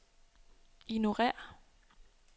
ignorér